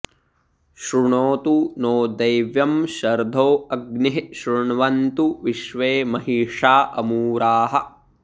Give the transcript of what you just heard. शृ॒णोतु॑ नो॒ दैव्यं॒ शर्धो॑ अ॒ग्निः शृ॒ण्वन्तु॒ विश्वे॑ महि॒षा अमू॑राः